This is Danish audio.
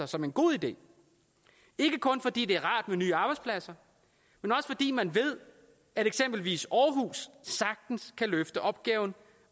som en god idé ikke kun fordi det er rart med nye arbejdspladser men også fordi man ved at eksempelvis aarhus sagtens kan løfte opgaven